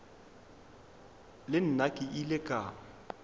le nna ke ile ka